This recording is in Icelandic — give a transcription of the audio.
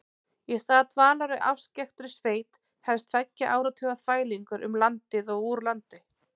Í stað dvalar í afskekktri sveit hefst tveggja áratuga þvælingur um landið og úr landi.